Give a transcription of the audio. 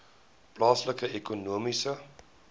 plaaslike ekonomiese